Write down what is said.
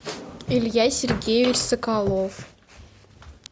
илья сергеевич соколов